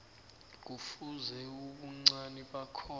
kufuze ubuncani bakhona